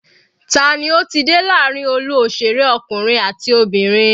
Tani ó ti dé láàrin olú òṣèré ọkùnrin àti obìnrin?